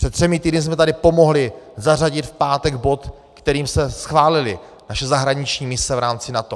Před třemi týdny jsme tady pomohli zařadit v pátek bod, kterým jsme schválili naše zahraniční mise v rámci NATO.